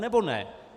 Anebo ne?